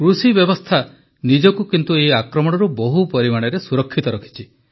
କୃଷିବ୍ୟବସ୍ଥା ନିଜକୁ ଏହି ଆକ୍ରମଣରୁ ବହୁ ପରିମାଣରେ ସୁରକ୍ଷିତ ରଖିଛି